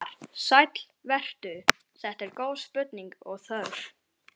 Svar: Sæll vertu, þetta eru góð spurning og þörf.